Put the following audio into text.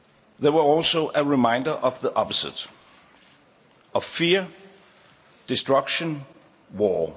they were also a reminder of the opposite fear, destruction, war.